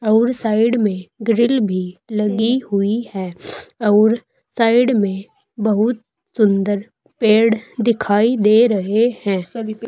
और साइड में ग्रिल भी लगी हुई है और साइड में बहुत सुंदर पेड़ दिखाई दे रहे हैं।